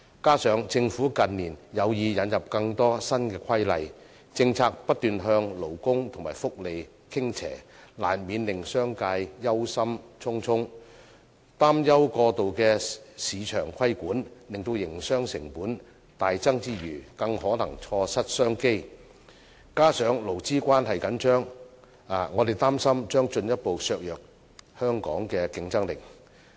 此外，政府近年有意引入更多新規例，政策不斷向勞工和福利傾斜，難免令商界憂心忡忡，擔憂過度的市場規管令營商成本大增之餘，更可能錯失商機，加上勞資關係緊張，我們擔心將進一步削弱本港的競爭力。